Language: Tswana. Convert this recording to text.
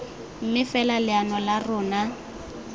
mme fela leano la rona